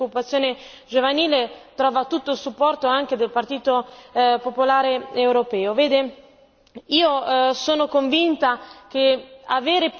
e del Presidente Junker, che ha sempre posto particolare attenzione alla disoccupazione giovanile, trovano tutto il supporto anche del Partito popolare europeo.